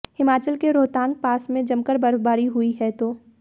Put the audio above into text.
हिमाचल के रोहतांग पास में जमकर बर्फबारी हई है तो